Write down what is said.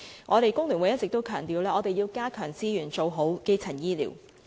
香港工會聯合會一直強調要增加資源，做好基層醫療。